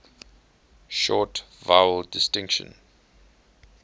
short vowel distinction